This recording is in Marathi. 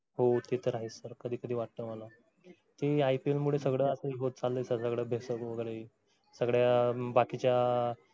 हो ते तर आहेच sir कधी कधी वाटतं मला ते ipl मूळ होत चाललंय सगळ्या बाकीच्या